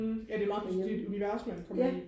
hm ja det er meget det er et univers man kommer ind i